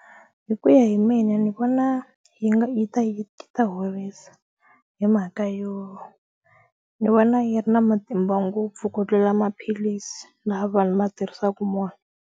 Hi ku ya hi mina ni vona yi nga yi ta yi ta horisa hi mhaka yo ni vona yi ri na matimba ngopfu ku tlula maphilisi laha vanhu va tirhisaku mona.